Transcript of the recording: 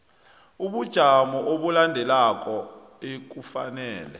bobujamo obulandelako ekufanele